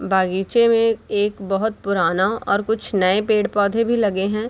बागीचे में एक बहुत पुराना और कुछ नए पेड़-पौधे भी लगे हैं।